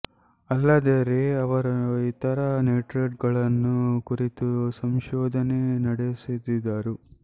ಅಲ್ಲದೆ ರೇ ಅವರು ಇತರ ನೈಟ್ರೈಟುಗಳನ್ನು ಕುರಿತು ಸಂಶೋಧನೆ ನಡೆಸಿದರು